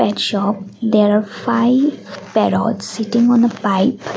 in shop there are five parrots sitting on a pipe.